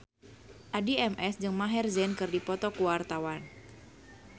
Addie MS jeung Maher Zein keur dipoto ku wartawan